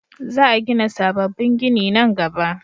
Za a gina sabobbin gini nan gaba